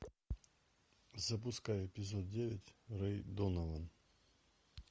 запускай эпизод девять рэй донован